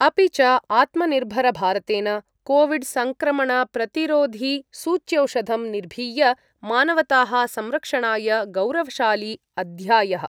अपि च आत्मनिर्भरभारतेन कोविड् संक्रमणप्रतिरोधिसूच्यौषधं निर्भीय मानवताः संरक्षणाय गौरवशाली अध्यायः